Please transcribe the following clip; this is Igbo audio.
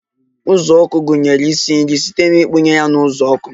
uzuọkụ gụnyere ịsị nri site na ikpughe ya na uzuoku